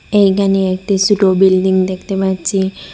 এইখানে একটি ছোট বিল্ডিং দেখতে পাচ্ছি।